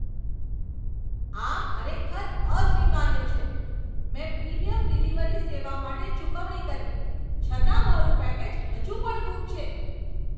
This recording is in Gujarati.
આ ખરેખર અસ્વીકાર્ય છે! મેં પ્રીમિયમ ડિલિવરી સેવા માટે ચૂકવણી કરી, છતાં મારું પેકેજ હજુ પણ ગુમ છે!